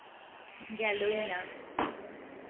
গেলই না